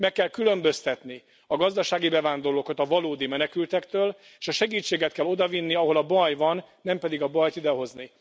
Meg kell különböztetni a gazdasági bevándorlókat a valódi menekültektől, és a segítséget kell odavinni, ahol a baj van, nem pedig a bajt idehozni.